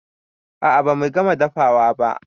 A'a bamu gama dafawa ba